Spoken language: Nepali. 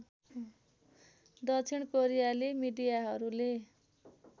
दक्षिण कोरियाली मिडियाहरूले